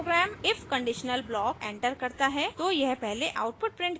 जब program if conditional block enter करता है तो यह पहले आउटपुट प्रिंट करेगा